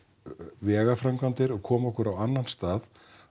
vegaframkvæmdir og koma okkur á annan stað